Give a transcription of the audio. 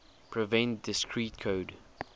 prevent discrete code